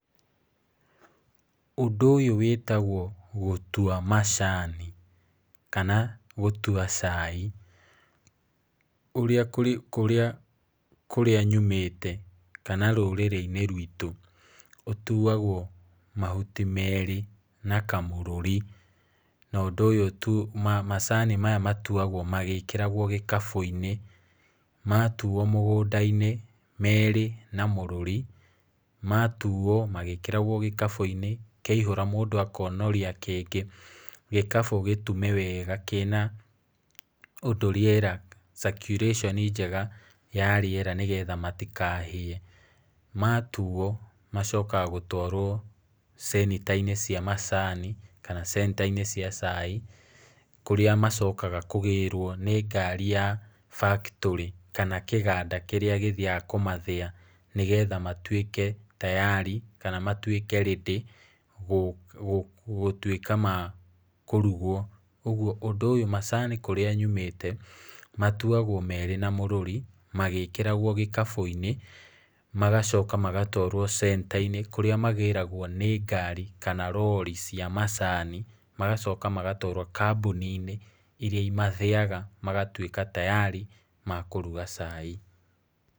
Ũndũ ũyũ wĩtagwo gũtua macani, kana gũtua cai. Ũrĩa kũrĩa nyumĩte, kana rũrĩrĩ-inĩ rũĩtũ, ũtuwagwo mahuti merĩ na kamũrũri. No ũndũ ũyũ, macani maya matuagwo magĩkĩragwo gĩkabũ-inĩ. Matuwo mũgũnda-inĩ merĩ na mũrũri, matuwo magĩkĩragwo gĩkabũ-inĩ, kĩaihũra mũndũ akonoria kĩngĩ, gĩkabũ gĩtume weega kĩna ũndũ rĩera, kana circulation njega ya rĩera nĩgetha matikahĩe. Matuwo, macokaga gũtwarwo cenita-inĩ cia macani, kana centa-inĩ cia cai, kũrĩa macokaga kũgĩrwo nĩ ngarĩ ya factory kana kĩganda kĩrĩa gĩthiaga kũmathĩyaga nĩgetha matuĩke tayari, kana matuĩke ready gũtuĩka makũrugwo, ũguo ũndũ ũyũ, macani kũrĩa nyumĩte, matuagwo mena mũrũri magĩkĩragwo gĩkabũ-inĩ, magacoka magatwarwo centa-inĩ kũrĩa magĩragwo nĩ ngari, kana rori cia macani, magacoka magatwarwo kambuni-inĩ iria imathĩyaga magatuĩka tayari, makũruga cai.